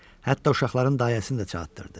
Hətta uşaqların dayəsini də çağırtdırdı.